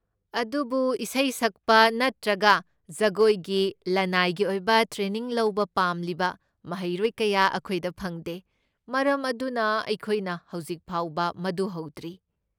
ꯑꯗꯨꯕꯨ ꯏꯁꯩ ꯁꯛꯄ ꯅꯠꯇ꯭ꯔꯒ ꯖꯒꯣꯏꯒꯤ ꯂꯅꯥꯏꯒꯤ ꯑꯣꯏꯕ ꯇ꯭ꯔꯦꯅꯤꯡ ꯂꯧꯕ ꯄꯥꯝꯂꯤꯕ ꯃꯍꯩꯔꯣꯏ ꯀꯌꯥ ꯑꯩꯈꯣꯏꯗ ꯐꯪꯗꯦ, ꯃꯔꯝ ꯑꯗꯨꯅ ꯑꯩꯈꯣꯏꯅ ꯍꯧꯖꯤꯛ ꯐꯥꯎꯕ ꯃꯗꯨ ꯍꯧꯗ꯭ꯔꯤ꯫